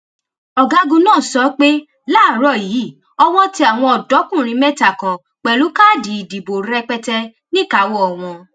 ọgágun náà sọ pé láàárọ yìí owó tẹ àwọn ọdọkùnrin mẹta kan pẹlú káàdì ìdìbò rẹpẹtẹ níkàáwọ wọn